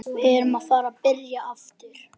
Hafsteinn: Selja þetta á læknastofur?